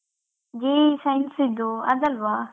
JEE science ಇದ್ದು ಅದಲ್ವಾ?